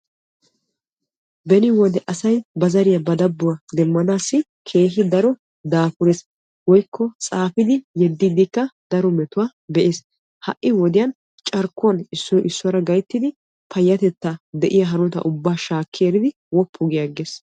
Beni wode asay ba zariya demmanaassi keehi daro daafures. Woykko xaafidi yeddiiddikka daro metuwaa be'ees. Ha"i wodiyan carkkuwan issoy issuwaara gayttidi payyatetta de"iyaa hanotaa ubbaa shaakki eridi woppu giyaagges.